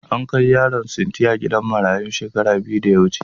An kai Yaron sintiya gidan marayun shekara biyu da ya wuce.